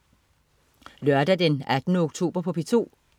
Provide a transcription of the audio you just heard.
Lørdag den 18. oktober - P2: